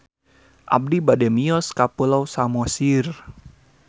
Abi bade mios ka Pulau Samosir